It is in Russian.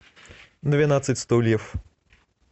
двенадцать стульев